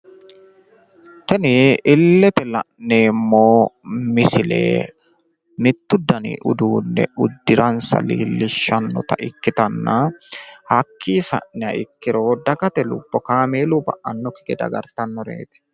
Tini illete la'neemmo misile mittu dani udduunne uddiransa leellishshannota ikkitanna hakkiinni sa'niha ikkiro dagate lubbo kaameelunni ba'annokki gede agartannoreeti.